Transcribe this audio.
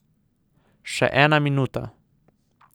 Še ene minuta.